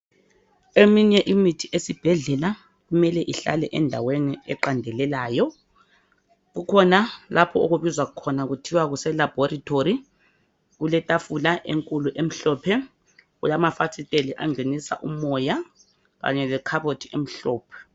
Eminye imithi esibhedlela kumele ihlale endaweni eqandelelayo kukhona lapho okubizwa khona kuthiwa kuse laboratory kuletafula enkulu emhlophe kulamafasiteli angenisa umoya kanye le khabothi emhlophe.